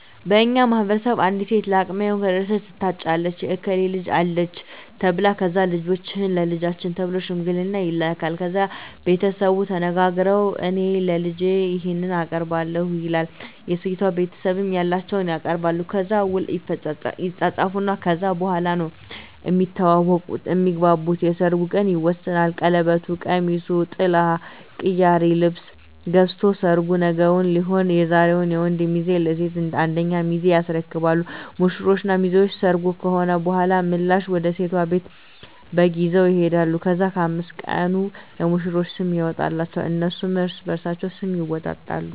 በእኛ ማህበረሰብ አንዲት ሴት ለአቅመ ሄዋን ከደረሰች ትታጫለች የእከሌ ልጅ አለች ተብላ ከዛ ልጃችሁን ለልጃችን ተብሎ ሽምግልና ይላካል። ከዛ ቤተሰቡ ተነጋግረዉ እኔ ለልጄ ይሄን አቀርባለሁ ይላል የሴቷ ቤተሰብም ያላቸዉን ያቀርባሉ። ከዛ ዉል ይፃፃፋሉ ከዛ በኋላ ነዉ እሚተዋወቁት (እሚግባቡት) የሰርጉ ቀን ይወሰናል ቀለበቱ፣ ቀሚሱ፣ ጥላ፣ ቅያሪ ልብስ ገዝቶ ሰርጉ ነገዉን ሊሆን ዛሬዉን የወንዱ ሚዜ ለሴቷ አንደኛ ሚዜ ያስረክባሉ። ሙሽሮች እና ሚዜዎች ሰርጉ ከሆነ በኋላ ምላሽ ወደ ሴቷ ቤት በግ ይዘዉ ይሄዳሉ። ከዛ በ5 ቀኑ ለሙሽሮች ስም ይወጣላቸዋል እነሱም እርስበርሳቸዉ ስም ይወጣጣሉ።